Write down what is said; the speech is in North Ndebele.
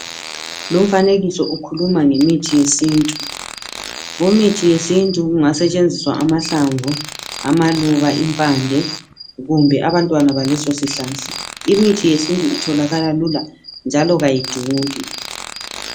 Lumfanekiso ukhuluma ngemithi yesintu. Kumithi yesintu kungasetshenziswa amahlamvu, amaluba, impande, kumbe abantwana baleso sihlahla. Imithi yesintu itholakala lula njalo kayiduli.